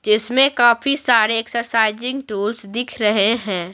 जिसमें काफी सारे एक्सरसाइजिंग टूल्स दिख रहे हैं।